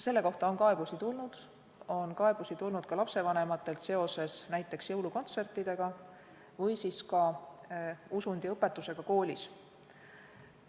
Selle kohta on kaebusi tulnud, on kaebusi tulnud ka lapsevanematelt seoses näiteks jõulukontsertidega või ka usundiõpetusega koolis.